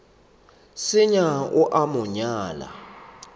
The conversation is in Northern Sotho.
senya o a mo nyala